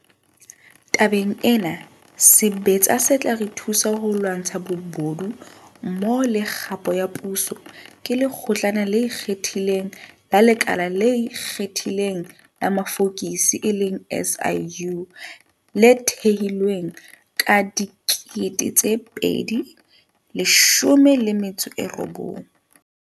Tabeng ena, sebetsa se tla re thusa ho lwantsha bobodu mmoho le kgapo ya puso, ke Lekgotlana le Ikgethileng la Lekala le Ikgethileng la Mafokisi, SIU, le thehilweng ka 2019.